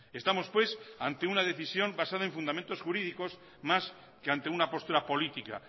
estamos pues ante una decisión basada en fundamentos jurídicos más que ante una postura política